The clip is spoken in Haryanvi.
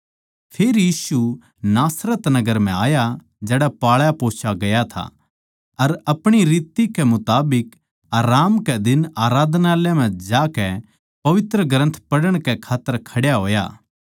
फेर यीशु नासरत नगर म्ह आया जड़ै पाळापोस्या गया था अर अपणी रित कै मुताबिक आराम कै दिन आराधनालय म्ह जाकै पवित्रग्रन्थ पढ़ण कै खात्तर खड्या होया